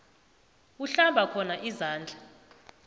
uhlamba khona izandla